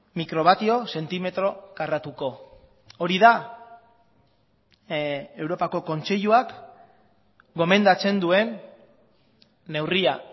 mikrobatio zentimetro karratuko hori da europako kontseiluak gomendatzen duen neurria